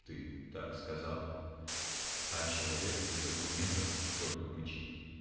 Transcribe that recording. ты так сказал а человек из аргументов только мычит